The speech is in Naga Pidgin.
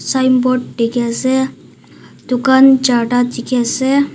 sign board di ki ase dukan jarta di ki ase.